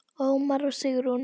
Ómar og Sigrún.